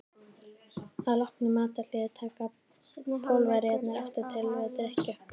Að loknu matarhléi taka Pólverjarnir aftur til við drykkju.